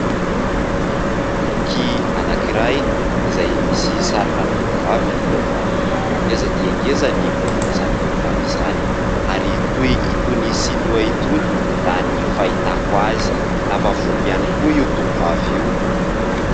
Boky anankiray izay misy sarina tovovavy eo aminy, ngeza dia ngeza ny oron'izany tovovavy izany ary toa itony sinoa itony raha ny fahitako azy, lava volo ihany koa io tovovavy io.